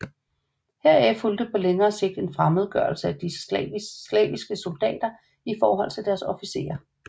Heraf fulgte på længere sigt en fremmedgørelse af de slaviske soldater i forhold til deres officerer